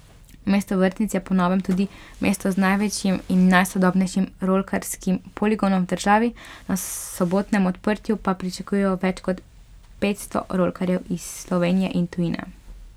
Mesto vrtnic je po novem tudi mesto z največjim in najsodobnejšim rolkarskim poligonom v državi, na sobotnem odprtju pa pričakujejo več kot petsto rolkarjev iz Slovenije in tujine.